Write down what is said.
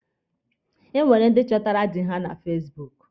E nwere ndi chọtara dị ha na fasibuuku.